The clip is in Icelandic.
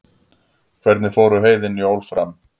hvernig fóru heiðin jól fram